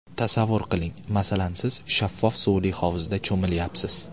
Tasavvur qiling, masalan siz shaffof suvli hovuzda cho‘milayapsiz.